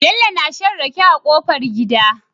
Bello na shan rake a kofar gida